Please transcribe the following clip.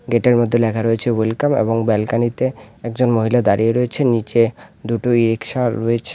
এটার মধ্যে লেখা রয়েছে ওয়েলকাম এবং ব্যালকনি -তে একজন মহিলা দাড়িয়ে রয়েছে নীচে দুটো ই-রিক্সা রয়েছে --